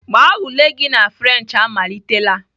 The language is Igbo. Gbaa ule gị na Frenchị amalitela!